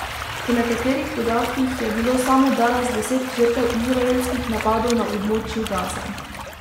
Po nekaterih podatkih je bilo samo danes deset žrtev izraelskih napadov na območju Gaze.